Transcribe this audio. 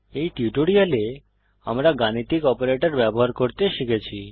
এই টিউটোরিয়াল আমরা গাণিতিক অপারেটর ব্যবহার করতে শিখেছি